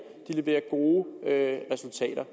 og leverer gode resultater